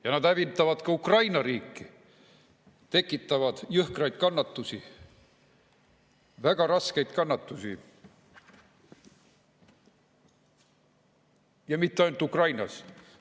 Ja nad hävitavad ka Ukraina riiki, tekitavad jõhkraid kannatusi, väga raskeid kannatusi, ja mitte ainult Ukrainas.